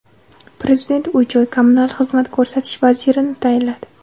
Prezident uy-joy kommunal xizmat ko‘rsatish vazirini tayinladi.